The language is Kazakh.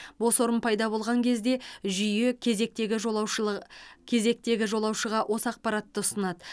бос орын пайда болған кезде жүйе кезектегі жолаушыл кезектегі жолаушыға осы ақпаратты ұсынады